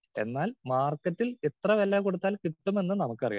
Speaker 2 എന്നാൽ മാർക്കറ്റിൽ എത്ര വില കൊടുത്താൽ കിട്ടുമെന്നും നമുക്കറിയാം.